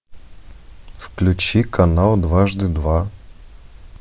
включи канал дважды два